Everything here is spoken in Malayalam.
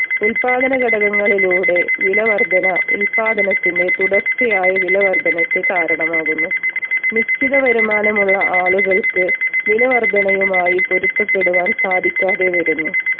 ഉത്പാദന ഘടകങ്ങളിലൂടെ വില വർധന ഉത്പാദനത്തിന്റെ തുടർച്ചയായ വില വർധനയ്ക്ക് കാരണമാകുന്നു. നിശ്ചിത വരുമാനമുള്ള ആളുകൾക്ക് വില വർധനയുമായി പൊരുത്തപ്പെടുവാൻ സാധിക്കാതെ വരുന്നു